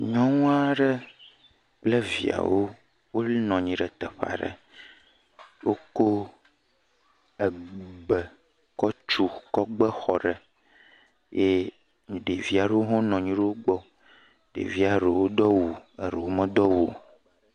Nyɔnu aɖe kple viawo nɔ anyi ɖe teƒe aɖe. Wo kɔ ebe kɔ gbe, kɔ tu xɔ aɖe eye ɖevi aɖewo hã nɔ anyi ɖe wògbɔ. Ɖevia ɖe Do awu, eɖewo medo awu o.